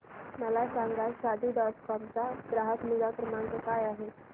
मला सांगा Shaadi dot com चा ग्राहक निगा क्रमांक काय आहे